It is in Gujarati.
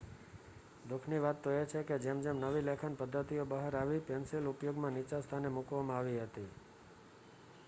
દુઃખની વાત એ છે કે જેમ જેમ નવી લેખન પદ્ધતિઓ બહાર આવી, પેન્સિલ ઉપયોગમાં નીચા સ્થાને મૂકવામાં આવી હતી